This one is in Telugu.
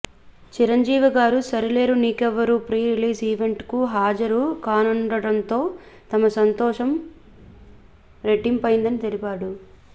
Chiranjeevi garu Sarileru Neekevvaru pre release event కు హాజరు కానుండడంతో తమ సంతోషం రెట్టింపైంది అని తెలిపాడు